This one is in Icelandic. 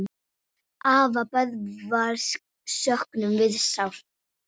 Afa Böðvars söknum við sárt.